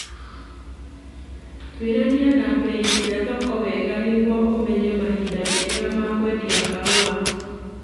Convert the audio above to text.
Twĩrania na bei cia thoko wega nĩguo ũmenye mahinda mega ma kwendia kahũa